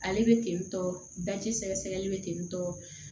Ale bɛ tentɔ daji sɛgɛ-sɛgɛli bɛ ten tɔ